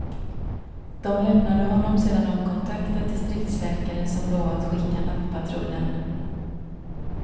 De lämnade honom sedan de kontaktat distriktsläkare som lovat skicka nattpatrullen.